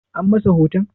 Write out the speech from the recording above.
An masa hoton?